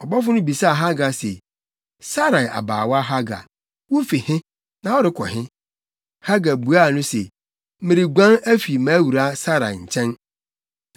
Ɔbɔfo no bisaa Hagar se, “Sarai abaawa Hagar, wufi he, na worekɔ he?” Hagar buaa no se, “Mereguan afi mʼawuraa Sarai nkyɛn.”